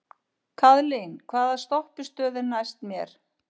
Kaðlín, hvaða stoppistöð er næst mér?